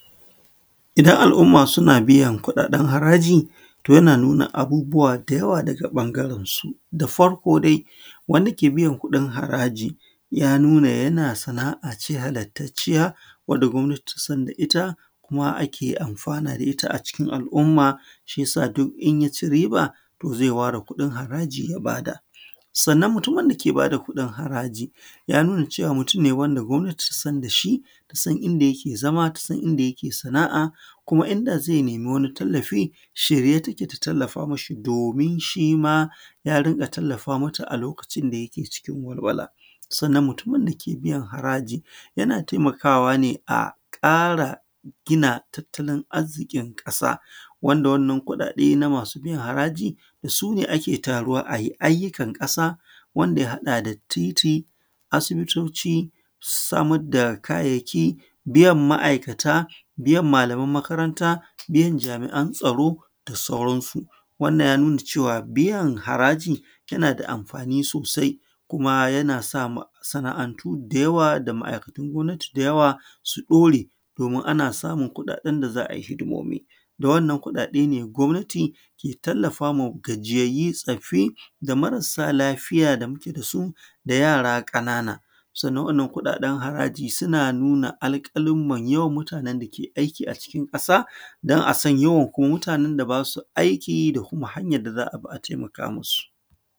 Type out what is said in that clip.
Idan al’umma suna biyan kuɗaɗen haraji, to yana nuna abubuwa da yawa daga ɓangarensu. Da farko dai, wanda ke biyan kuɗin haraaji ya nuna yana sana’a ce halastaciya wanda gwamnati ta san da ita kuma ake anfana da ita a cikin al’umma shi ya ci riba, to zai ware kuɗin haraji ya bada. Sannan mutumin da ke ba da kuɗin haraji, ya nuna cewaa mutum ne wanda gwamnati ta san da shi, ta san inda ya ke zama, ta san inda yake sanaa’a kuma inda zai nemi wani tallafi a shirye ta ke ta tallafa mishi domin shi ma ya dinga tallafa mata a lokacin da ya ke cikin walwala. Sannan mutumin da ke biyan haraji yana taimakawa ne a ƙaara gina tattalin arziƙin ƙasa wanda wannan kuɗaɗe da ake biyan harayi da su ne ake tarawa a yi ayyukan ƙasa wanda ya haɗa da titi, asibitoci, samar da kayayyaki, biyan ma’aikata, biyan malaman makaranta, biyan jami’an tsaro da sauransu. Wannan ya nuna cewar biyan haraji yana da anfani sosai. Kuma yana sa masana’antu da yawa da ma’aikatan gwamnati da yawa su ɗore domin ana samun kuɗaɗen da za ai hidimomi. Da wannan kuɗaɗe ne gwamnati ke tallafa ma gajiyayyu, tsoffi da marasa lafiya da muke da su da yara ƙanaana. Sannan waɗannan kuɗaɗen haraji suna nuna alƙaluman yawan mutanen da suke aiki a cikin ƙasa don a san kuma yawan mutanen da ba su aiki da kuma hanyar da za a bi a taimaka masu.